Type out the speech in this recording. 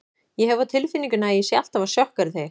Ég hef á tilfinningunni að ég sé alltaf að sjokkera þig.